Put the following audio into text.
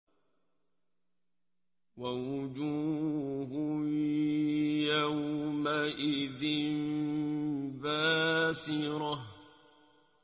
وَوُجُوهٌ يَوْمَئِذٍ بَاسِرَةٌ